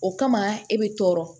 O kama e bɛ tɔɔrɔ